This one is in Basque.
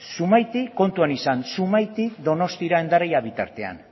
zumaitik kontuan izan zumaitik donostira bitartean